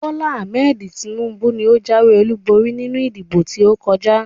Bola Ahmed Tinubu ni ó jáwé olúborí nínú ìdìbò tí ó kọjá